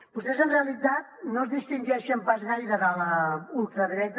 vostès en realitat no es distingeixen pas gaire de la ultradreta